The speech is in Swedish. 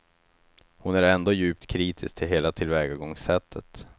Hon är ändå djupt kritiskt till hela tillvägagångssättet.